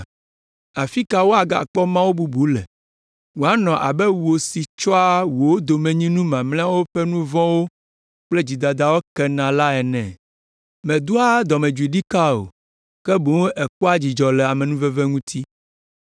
Afi ka woagakpɔ Mawu bubu le wòanɔ abe wò si tsɔa wò domenyinu mamlɛawo ƒe nu vɔ̃wo kple dzidadawo kena la ene? Mèdoa dɔmedzoe ɖikaa o, ke boŋ èkpɔa dzidzɔ le amenuveve ŋuti.